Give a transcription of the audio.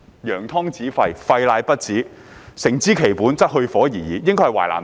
"揚湯止沸，沸乃不止，誠知其本，則去火而已矣"。